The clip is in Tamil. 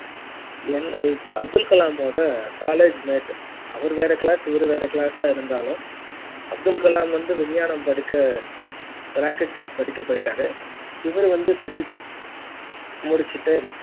என் அப்துல் கலாம் ஓட college mate இருந்தாலும் அப்துல் கலாம் வந்து விஞ்ஞானம் படிக்க rocket science படிக்க போயிட்டாரு இவரு வந்து physics முடிச்சிட்டு